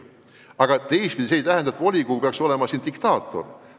Aga teistpidi see ei tähenda, et volikogu peaks olema diktaator.